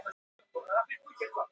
Hafið þér búið til allar þessar kökur?